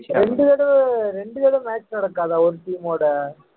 ஜெயிச்சாங்க ரெண்டு தடவை ரெண்டு தடவை match நடக்காதா ஒரு team ஓட